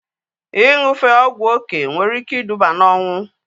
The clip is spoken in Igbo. Ịṅụfe ọgwụ oké nwere ike iduba na ọnwụ